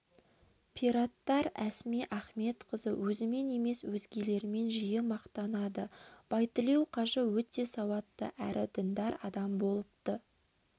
пираттар әсма ахметқызы өзімен емес өзгелермен жиі мақтанады байтілеу қажы өте сауатты әрі діндар адам болыпты